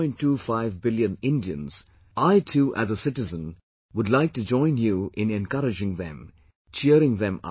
25 billion Indians I too as a citizen would like to join you in encouraging them, cheering them up